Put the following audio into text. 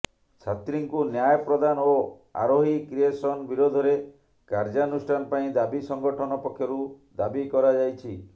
ଛାତ୍ରୀଙ୍କୁ ନ୍ୟାୟ ପ୍ରଦାନ ଓ ଆରୋହୀ କ୍ରିଏସନ୍ ବିରୋଧରେ କାର୍ଯ୍ୟାନୁଷ୍ଠାନ ପାଇଁ ଦାବି ସଂଗଠନ ପକ୍ଷରୁ ଦାବି କରାଯାଇଛି